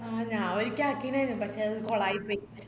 ആഹ് ഞാ ഒരിക്ക ആകിനെനു പക്ഷെ അത് കോളായിപ്പോയി